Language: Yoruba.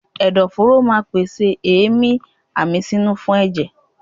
Ẹ̀dọ̀ fóró ma pèsè èémí àmísínú fún ẹ̀jẹ̀.